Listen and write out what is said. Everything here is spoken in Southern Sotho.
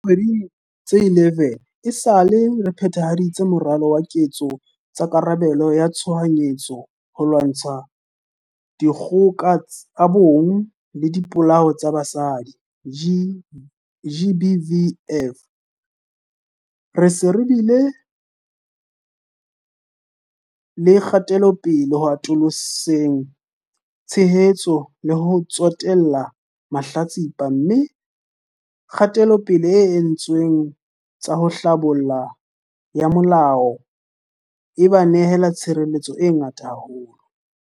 Dikgwedi tse 11 esale re phe-thahaditse Moralo wa Ketso tsa Karabelo ya Tshohanyetso ho lwantsha dikgoka tsa bong le dipolao tsa basadi, GBVF, re se re bile le kgatelopele ho atoloseng tshehetso le ho tsotella mahlatsipa, mme kgatelopele e entsweng ho tsa tlhabollo ya molao e ba nehela tshireletso e ngata haholo.